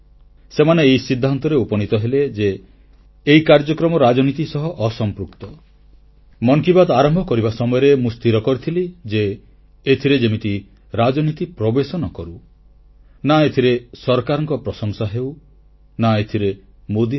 ସେମାନେ ଏହି ସିଦ୍ଧାନ୍ତରେ ଉପନୀତ ହେଲେ ଯେ ମନ କି ବାତ୍ କାର୍ଯ୍ୟକ୍ରମ ଆରମ୍ଭ କରିବା ସମୟରେ ମୁଁ ସ୍ଥିର କରିଥିଲି ଯେ ଏଥିରେ ଯେମିତି ରାଜନୀତି ପ୍ରବେଶ ନ କରୁ ନା ଏଥିରେ ସରକାରଙ୍କ ପ୍ରଶଂସା ହେଉ ନା ଏଥିରେ ମୋଦୀ ରହୁ